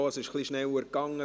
Es ging ein wenig schneller.